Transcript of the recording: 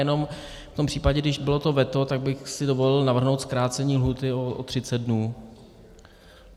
Jenom v tom případě, když bylo to veto, tak bych si dovolil navrhnout zkrácení lhůty o 30 dnů.